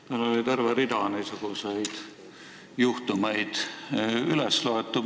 Meil oli terve rida niisuguseid juhtumeid üles loetud.